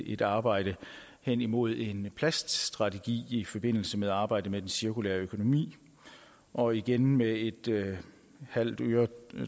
et arbejde hen imod en plaststrategi i forbindelse med arbejdet med den cirkulære økonomi og igen med et halvt øre